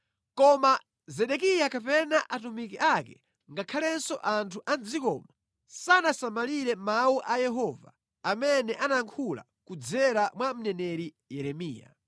Koma Zedekiya kapena atumiki ake ngakhalenso anthu a mʼdzikomo sanasamalire mawu a Yehova amene anayankhula kudzera mwa mneneri Yeremiya.